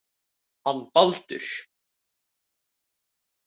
Hann Baldur.